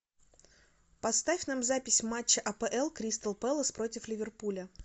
поставь нам запись матча апл кристал пэлас против ливерпуля